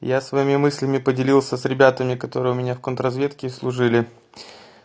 я своими мыслями поделился с ребятами которые у меня в контрразведке служили